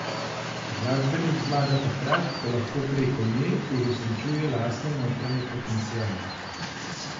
Glasbenik zmaga takrat, ko lahko preko nje uresničuje lastne notranje potenciale.